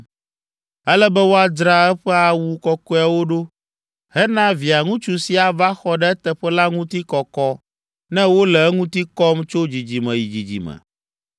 “Ele be woadzra eƒe awu kɔkɔeawo ɖo hena Via ŋutsu si ava xɔ ɖe eteƒe la ŋuti kɔkɔ ne wole eŋuti kɔm tso dzidzime yi dzidzime.